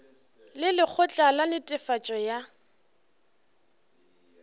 le lekgotla la netefatšo ya